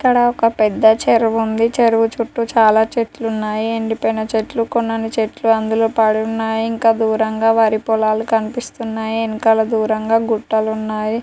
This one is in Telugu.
ఇక్కడ ఒక పెద్ద చెరువు ఉంది చెరువు చుట్టూ చాల చెట్లు ఉన్నాయి ఎండి పోయిన చెట్లు కొన్ని అన్నిచెట్లు అందులో పడి ఉన్నాయి ఇంకా దూరంగా వరి పొలాలు కనిపిస్తున్నాయి ఎనకాల దూరంగా గుట్టలు ఉన్నాయి.